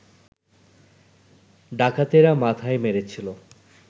ডাকাতেরা মাথায় মেরেছিল